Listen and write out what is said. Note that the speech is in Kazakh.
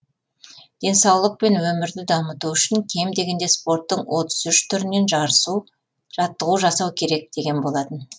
денсаулық пен өмірді дамыту үшін кем дегенде спорттың отыз үш түрінен жаттығу жасау керек деген болатын